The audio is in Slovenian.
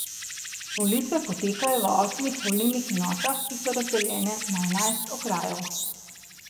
Volitve potekajo v osmih volilnih enotah, ki so razdeljene na enajst okrajev.